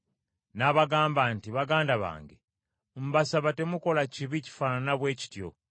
n’abagamba nti, “Baganda bange mbasaba temukola kibi kifaanana bwe kityo.